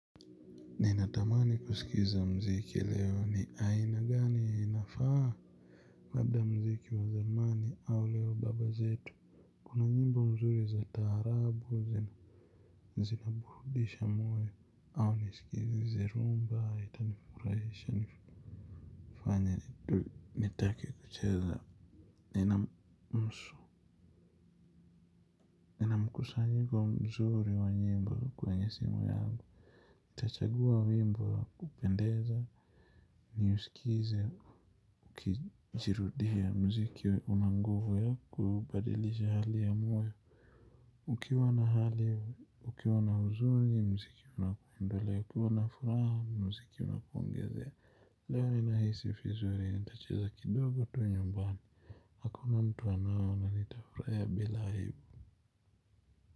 Ninatamani kusikiza mziki leo ni aina gani inafaa labda mziki wa zamani au leo baba zetu kuna nyimbo mzuri za taharabu zinaburudisha moyo au nisikilize rhumba itanifurahisha nifanye nitake kucheza nina mkusanyiko mzuri wa nyimbo kwenye simu yangu nitachagua wimbo upendeza. Niusikize ukijirudia mziki una nguvu ya kubadilisha hali ya moyo. Ukiwa na hali ukiwa na huzuni mziki unakuondolea. Ukiwa na furaha mziki unakuongezea. Leo ninahisi vizuri nitacheza kidogo tu nyumbani hakuna mtu anaona nitafurahia bila aibu.